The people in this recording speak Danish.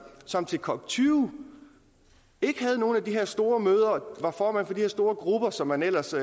som til cop20 ikke havde nogle af de her store møder var formand for de her store grupper som man ellers